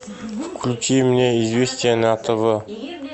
включи мне известия на тв